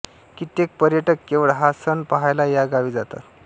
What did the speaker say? कित्येक पर्यटक केवळ हा सण पहायला या गावी जातात